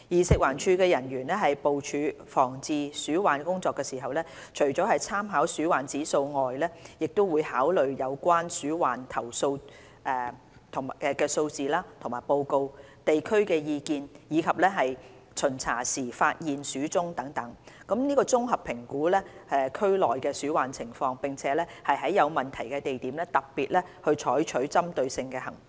食環署人員部署防治鼠患工作時，除了參考鼠患指數外，亦會考慮有關鼠患投訴數字及報告、地區意見，以及巡查時發現的鼠蹤等，綜合評估區內的鼠患情況，並在有問題的地點特別採取針對性行動。